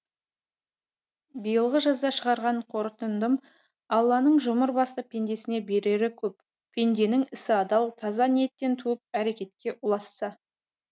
биылғы жазда шығарған қорытындым алланың жұмыр басты пендесіне берері көп пенденің ісі адал таза ниеттен туып әрекетке ұласса